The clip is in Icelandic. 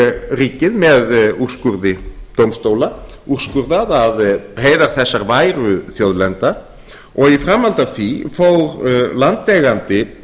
ríkið með úrskurði dómstóla úrskurðað að heiðar þessar væru þjóðlenda og í framhaldi af því fól landeigandi